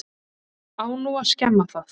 Á nú að skemma það?